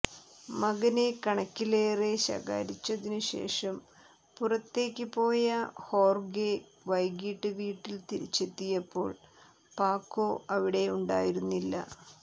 മകനെ കണക്കിലേറെ ശകാരിച്ചതിനു ശേഷം പുറത്തേക്ക് പോയ ഹോർഗെ വൈകീട്ട് വീട്ടിൽ തിരിച്ചെത്തിയപ്പോൾ പാക്കോ അവിടെയുണ്ടായിരുന്നില്ല